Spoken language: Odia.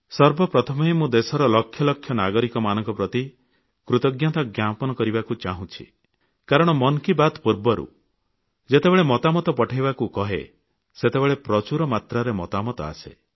ସର୍ବପ୍ରଥମେ ମୁଁ ଦେଶର ଲକ୍ଷ ଲକ୍ଷ ନାଗରିକମାନଙ୍କ ପ୍ରତି କୃତଜ୍ଞତା ପ୍ରକାଶ କରିବାକୁ ଚାହୁଁଛି କାରଣ ମନ୍ କି ବାତ୍ ପୂର୍ବରୁ ମୁଁ ଯେତେବେଳେ ମତାମତ ପଠାଇବାକୁ କହେ ସେତେବେଳେ ଅନେକ ମତାମତ ଆସେ